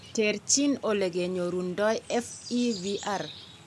Terterchin olokenyorundo FEVR